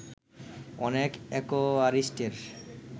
অনেক অ্যাকোয়ারিস্টের